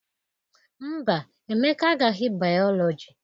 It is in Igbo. Mba, Emeka agaghị bayọlọji